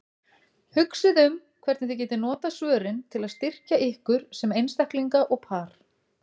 Hugsið um hvernig þið getið notað svörin til að styrkja ykkur sem einstaklinga og par.